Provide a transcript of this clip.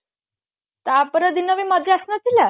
ତା ପର ଦିନ ବି ମଜା ଆସି ନଥିଲା